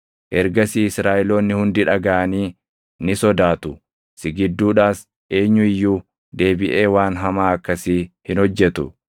Ergasii Israaʼeloonni hundi dhagaʼanii ni sodaatu; si gidduudhaas eenyu iyyuu deebiʼee waan hamaa akkasii hin hojjetu.